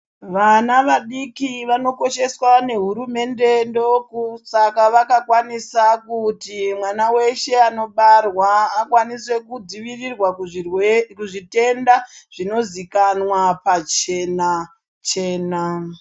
Vana vadiki vanokosheswa nehurumende, ndoku saka vaka kwanisa kuti mwana weshe anobarwa akwanise kudzivirirwa kuzvitenda zvinozikanwa pachena chena.